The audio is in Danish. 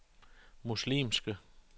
muslimske